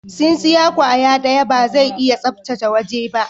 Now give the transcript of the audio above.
Tsinsiya kwaya daya ba zai iya sabtace waje ba.